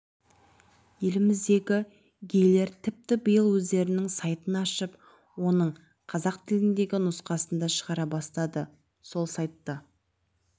еліміздегі гейлер тіпті биыл өздерінің сайтын ашып оның қазақ тіліндегі нұсқасын да шығара бастады сол сайтты